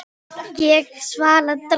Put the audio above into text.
Ég svara dræmt.